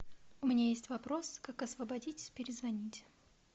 у меня есть вопрос как освободитесь перезвоните